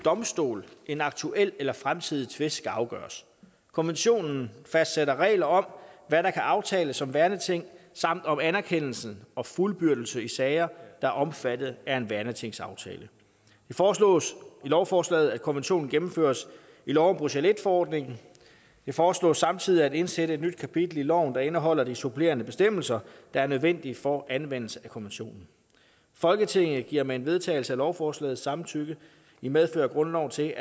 domstol en aktuel eller fremtidig tvist skal afgøres konventionen fastsætter regler om hvad der kan aftales om værneting samt om anerkendelse og fuldbyrdelse i sager der er omfattet af en værnetingsaftale det foreslås i lovforslaget at konventionen gennemføres i lov om bruxelles i forordningen det foreslås samtidig at indsætte et nyt kapitel i loven der indeholder de supplerende bestemmelser der er nødvendige for anvendelse af konventionen folketinget giver med en vedtagelse af lovforslaget samtykke i medfør af grundloven til